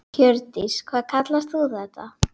Hjördís: Hvað kallar þú þetta?